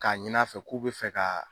K'a ɲin'a fɛ k'u bɛ fɛ ka